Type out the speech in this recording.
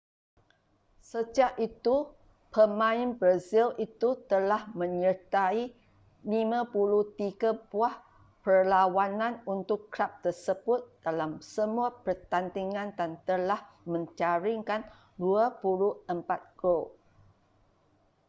sejak itu pemain brazil itu telah menyertai 53 buah perlawanan untuk kelab tersebut dalam semua pertandingan dan telah menjaringkan 24 gol